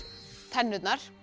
tennurnar